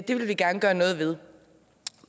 det vil vi gerne gøre noget ved